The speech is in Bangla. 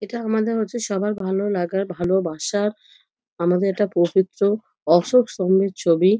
এটা আমাদের হচ্ছে সবার ভালো লাগার ভালোবাসার। আমাদের এটা পবিত্র অশোক স্তম্ভের ছবি।